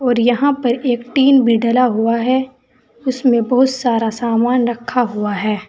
और यहां पर एक टीन भी डला हुआ है उसमें बहुत सारा सामान रखा हुआ है।